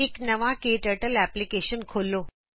ਇਕ ਨਵਾ KTurtleਐਪਲਿਕੇਸ਼ਨ ਖੋਲੋ